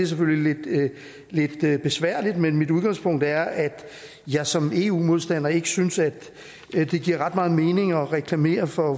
selvfølgelig lidt besværligt og mit udgangspunkt er at jeg som eu modstander ikke synes at det giver ret meget mening at reklamere for